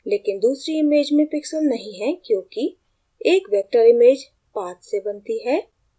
लेकिन दूसरी image में pixelate नहीं हैं क्योंकि एक vector image paths से बनती है